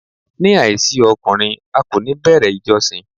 Ní àìsí ọkùnrin, a kò ní bẹ̀rẹ̀ ìjọsìn.